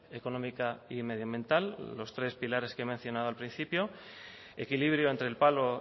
económica y medioambiental los tres pilares que he mencionado al principio equilibrio entre el palo